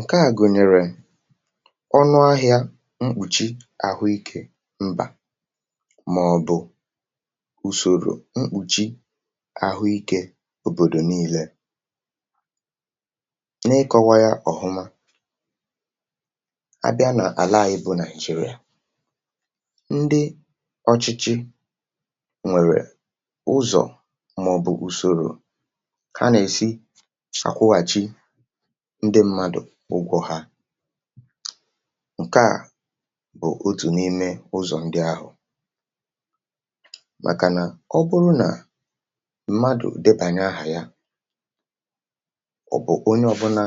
ǹkeà gụ̀nyèrè ọnụ ahị̇ȧ mkpùchi àhụikè mbà màọ̀bụ̀ usòrò mkpùchi àhụikė òbòdò nii̇lė na-ịkọ̇wa yȧ ọ̀hụma abịa nà àla à bụ̇ naị̀jị̀rị̀a um ndị ọchịchị nwèrè ụzọ̀ màọ̀bụ̀ usòrò ha nà-èsi àkwụghàchi ndị mmadụ̀ ụgwọ̇ ha ǹkeà bụ̀ otù n’ime ụzọ̀ ndị ahụ̀ màkà nà ọ bụrụ nà mmadụ̀ dịbànye áhà ya ọ̀ bụ̀ onye ọbụna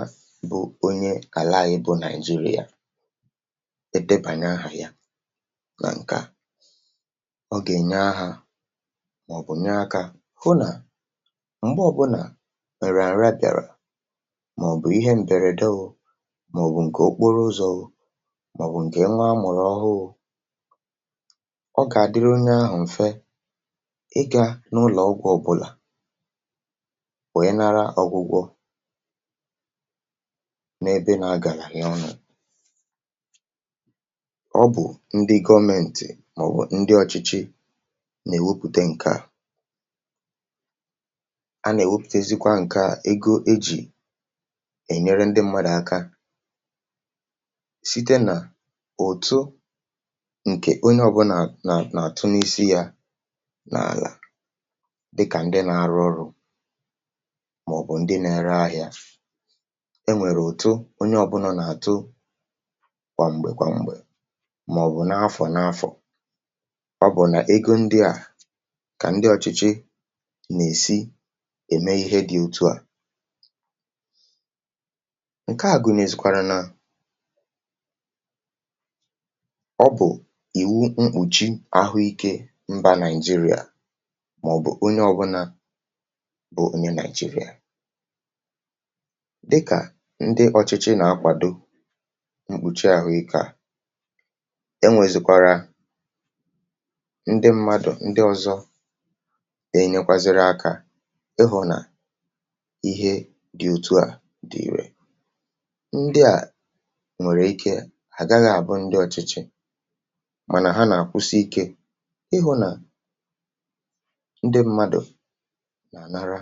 bụ onye kà laa ibu nàị̀zirià dịpànye ahà ya nà ǹkè a ọ gà-ènye ahụ̀ màọ̀bụ̀ nya akȧ hụ nà m̀gbe ọ̀bụ̀nà wèrè àrịa bịàrà màọ̀bụ̀ ǹkè okporo ụzọ̇ mọ̀bụ̀ ǹkè nwa amụ̀rụ̀ ọhụụ ọ gà-àdịrọ n’ahụ̀ mfe ịgȧ n’ụlọ̀ ọgwụ̇ ọbụlà wèe nara ọgwụgwọ n’ebe nà-agàlà yà ọnụ̇ ọ bụ̀ ndị gọmėntị̀ màọ̀bụ̀ ndị ọ̀chịchị nà-èwepùte ǹke a site nà òtu ǹkè onye ọ̀bụlà nà nà-àtụ n’isi ya n’àlà dịkà ndị nȧ-arụ ọrụ̇ um màọ̀bụ̀ ndị nȧ-ėrē ahịȧ e nwèrè òtu onye ọ̀bụlà nà-àtụ kwà m̀gbè kwà m̀gbè màọ̀bụ̀ n’afọ̀ n’afọ̀ ọ bụ̀ nà ego ndịà kà ndị ọ̀chịchị nà-èsi ème ihe dị̇ òtu à ǹkeà a gụnị̀ nà-ezikwara nà ọ bụ̀ ìwu mkpùchi àhụikė mbà Nigeria màọ̀bụ̀ onye ọbụlà bụ̀ onye Nigeria dịkà ndị ọ̀chịchị nà-akwàdo mkpùchi àhụikà e nwèzikwara ndị mmadụ̀ ndị ọ̀zọ dị nyekwaziri akȧ ịhụ̀ nà ihe dị̀ òtù à dị ìrè nwèrè ike ha gaghi à bụ ndị ọ̀chịchị um mànà ha nà-àkwụsi ikė ịhụ̇ nà ndị mmadụ̀ nà-ànara.